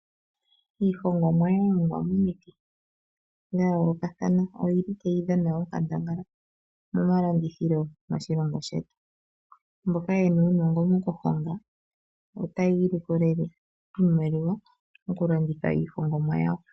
Iihongomwa yalongwa momiti dhayoolokathana oyili tayi dhana onkandangala momalandithilo moshilongo shetu, mboka yena uunongo mokuhonga otayiilikolele iimaliwa mokulanditha iihongomwa yawo.